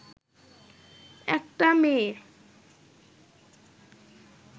একটা মেয়ে